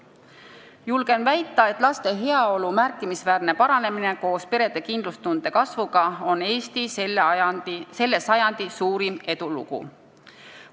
Julgen väita, et laste heaolu märkimisväärne paranemine koos perede kindlustunde kasvuga on Eesti selle sajandi suurim edulugu.